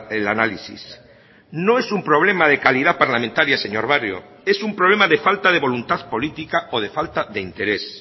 el análisis no es un problema de calidad parlamentaria señor barrio es un problema de falta de voluntad política o de falta de interés